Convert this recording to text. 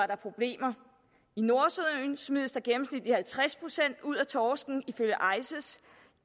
der problemer i nordsøen smides der gennemsnitligt halvtreds procent ud af torsken ifølge ices